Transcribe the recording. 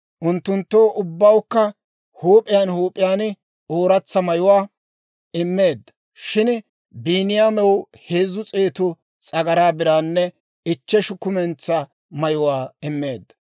Unttunttoo ubbawukka huup'iyaan huup'iyaan ooratsa mayuwaa immeedda; shin Biiniyaamew heezzu s'eetu s'agaraa biraanne ichcheshu kumentsaa mayuwaa immeedda.